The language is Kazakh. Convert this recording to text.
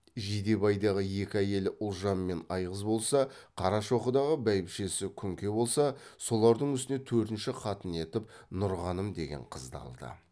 жидебайдағы екі әйелі ұлжан мен айғыз болса қарашоқыдағы бәйбішесі күнке болса солардың үстіне төртінші қатын етіп нұрғаным деген қызды алды